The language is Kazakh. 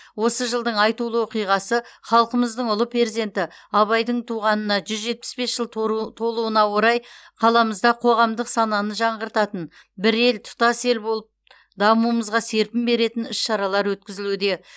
осы жылдың айтулы оқиғасы халқымыздың ұлы перзенті абайдың туғанына жүз жетпіс бес жыл тору толуына орай қаламызда қоғамдық сананы жаңғыртатын бір ел тұтас ел болып дамуымызға серпін беретін іс шаралар өткізілуде